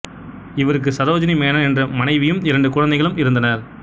இவருக்கு சரோஜினி மேனன் என்ற மனைவியும் இரண்டு குழந்தைகளும் இருந்தனர்